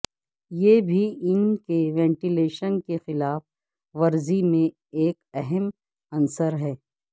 یہ بھی ان کے وینٹیلیشن کی خلاف ورزی میں ایک اہم عنصر ہے